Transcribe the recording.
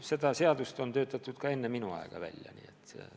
Seda seadust on ka enne minu aega välja töötatud.